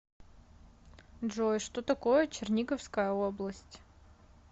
джой что такое черниговская область